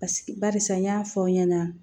barisa n y'a fɔ aw ɲɛna